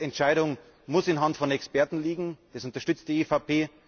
Die Projektentscheidung muss in der Hand von Experten liegen, das unterstützt die EVP.